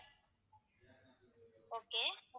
okay